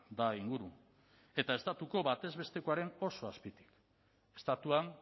da inguru eta estatuko batez bestekoaren oso azpitik estatuan